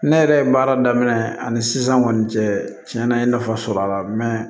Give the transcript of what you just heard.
Ne yɛrɛ ye baara daminɛ ani sisan kɔni cɛ cɛn na n ye nafa sɔrɔ a la